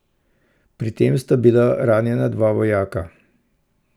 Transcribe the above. Pri tem sta bila ranjena dva vojaka.